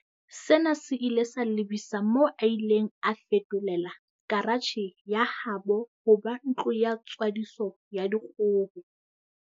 Sena se ile sa lebisa moo a ileng a feto lela karatjhe ya habo ho ba ntlo ya tswadiso ya dikgoho.